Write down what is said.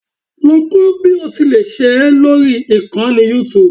Lọ kọ́ bí o tilẹ̀ ṣe é lórí ìkànnì youtube